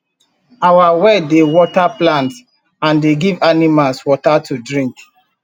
our well dey water plants and dey give animals water to drink